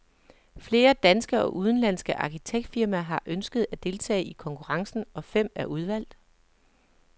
Flere danske og udenlandske arkitektfirmaer har ønsket at deltage i konkurrencen, og fem er udvalgt.